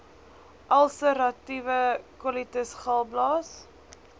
ulseratiewe kolitis galblaas